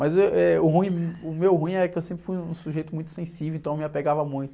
Mas, êh, eh, o ruim, o meu ruim é que eu sempre fui um sujeito muito sensível, então me apegava muito.